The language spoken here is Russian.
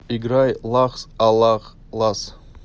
играй лахс аллах лас